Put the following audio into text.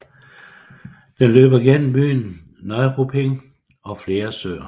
Den løber gennem byen Neuruppin og flere søer